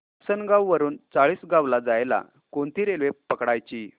आसनगाव वरून चाळीसगाव ला जायला कोणती रेल्वे पकडायची